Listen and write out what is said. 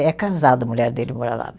É casado, a mulher dele mora lá.